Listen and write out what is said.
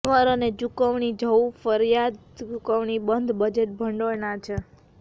કર અને ચુકવણી જવું ફરજિયાત ચૂકવણી બંધ બજેટ ભંડોળના છે